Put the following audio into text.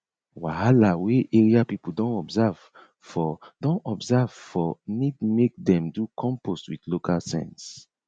wahala wey area people don observe for don observe for need make dem do compost with local sense